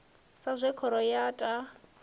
sa zwe khoro ya ta